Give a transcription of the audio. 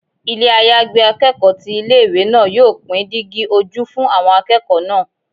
Ilé àyágbé akẹ́kọ̀ọ́ ti ilé ìwé náà yóò pín dígí ojú fún àwọn akẹ́kọ̀ọ́ náà.